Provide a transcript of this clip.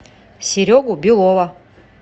серегу белова